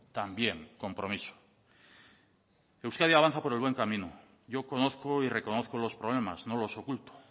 también compromiso euskadi avanza por el buen camino yo conozco y reconozco los problemas no los oculto